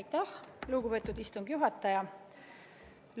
Aitäh, lugupeetud istungi juhataja!